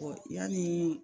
yanni